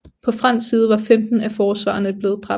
På fransk side var femten af forsvarerne blevet dræbt